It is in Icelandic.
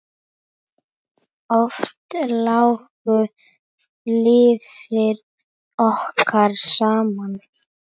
Oft lágu leiðir okkar saman.